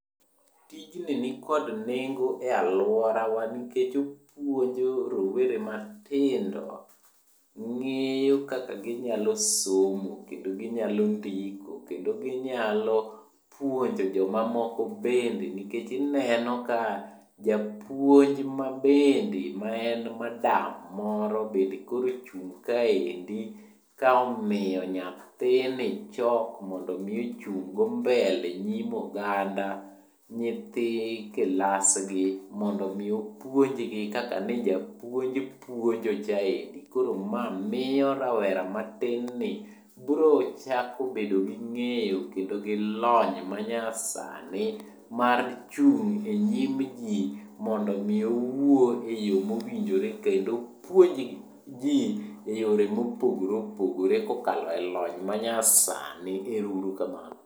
Tijni nikod nengo e alworawa nikech opuonjo rowere matindo ng'eyo kaka ginyalo somo kendo ginyalo ndiko, kendo ginyalo puonjo jomamoko bende. Nikech ineno ka japuonj ma bende maen madam moro bed koro ochung' kaendi kaomiyo nyathini chok mondomi ochung' go mbele nyim oganda nyithi kilasgi, mondo mi opuonjgi kaka ne japuonj puonjochaendi. Koro ma miyo rawera matin ni brochako bedo gi ng'eyo kendo gi lony manyasani mar chung' e nyim ji mondo mi owuo eyo mowinjore kendo puonj ji e yore mopogore opogore kokalo e lony manyasani. Ero uru kamano.